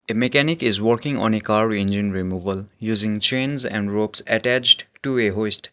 a mechanic is working on a car engine removal using chains and ropes attached to a hoist.